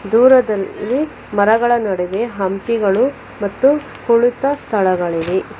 ದೂರದಲ್ಲಿ ಮರಗಳ ನಡುವೆ ಹಂಪಿಗಳು ಮತ್ತು ಕುಳಿತ ಸ್ಥಳಗಳಿವೆ.